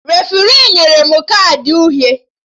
Refri nyere m kaadị uhie